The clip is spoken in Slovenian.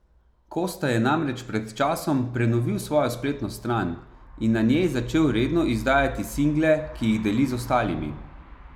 Kosta je namreč pred časom prenovil svojo spletno stran in na njej začel redno izdajati single, ki jih deli z ostalimi.